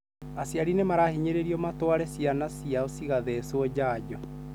Aciari nĩmahinyĩrĩirio matware ciana ciao cigatheswo janjo.